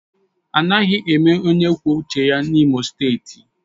Anaghị eme onye kwuo uche ya N'Imo steeti